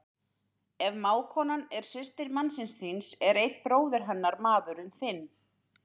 Ef mágkonan er systir mannsins þíns er einn bróðir hennar maðurinn þinn.